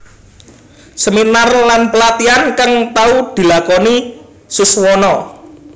Seminar lan pelatihan kang tau dilakoni Suswono